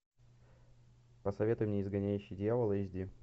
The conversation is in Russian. посоветуй мне изгоняющий дьявола эйч ди